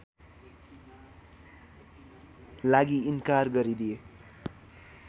लागि इन्कार गरिदिए